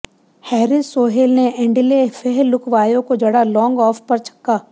Harris Sohail ने Andile Phehlukwayo को जड़ा लॉन्ग ऑफ पर छक्का